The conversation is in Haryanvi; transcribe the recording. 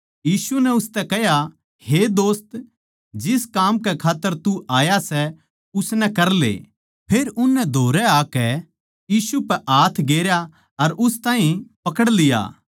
यीशु नै उसतै कह्या हे दोस्त जिस काम कै खात्तर तू आया सै उसनै करले फेर उननै धोरै आकै यीशु पै हाथ गेरया अर उस ताहीं पकड़ लिया